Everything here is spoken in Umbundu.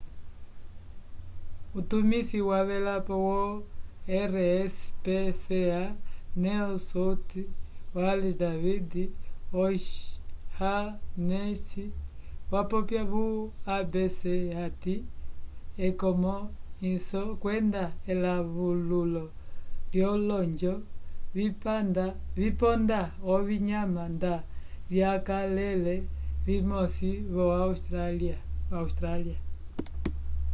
utumisi wavelapo yo rspca new south wales david o'shannessy wapopya vo abc hati ekonomwwiso kwenda elawululo lyolonjo viponda ovinyama nda vyakalele vimosi vo-austrália